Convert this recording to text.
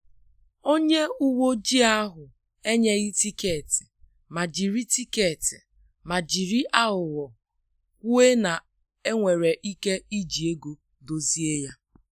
Onye uwe ojii ahụ enyeghi tiketi ma jiri tiketi ma jiri aghụghọ kwuo na enwere ike iji ego dozie ya